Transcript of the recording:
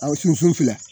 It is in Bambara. Aw sunfun fila